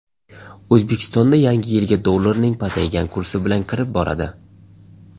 O‘zbekistonda Yangi yilga dollarning pasaygan kursi bilan kirib boradi.